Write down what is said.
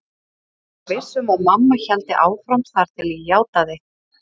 Ég var viss um að mamma héldi áfram þar til ég játaði.